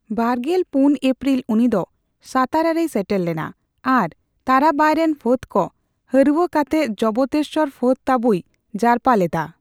ᱵᱟᱨᱜᱮᱞ ᱯᱩᱱ ᱮᱯᱯᱨᱤᱞ ᱩᱱᱤᱫᱚ ᱥᱟᱛᱟᱨᱟ ᱨᱮᱭ ᱥᱮᱴᱮᱨ ᱞᱮᱱᱟ ᱟᱨ ᱛᱟᱨᱟᱵᱟᱭ ᱨᱮᱱ ᱯᱷᱟᱹᱫᱽ ᱠᱚ ᱦᱟᱹᱨᱣᱟᱹ ᱠᱟᱛᱮ ᱡᱚᱵᱽᱛᱮᱥᱥᱚᱨ ᱯᱷᱟᱹᱫᱽ ᱛᱟᱹᱵᱩᱭ ᱡᱟᱨᱯᱟ ᱞᱮᱫᱟ ᱾